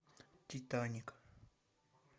титаник